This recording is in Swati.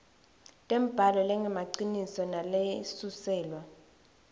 tembhalo lengemaciniso nalesuselwa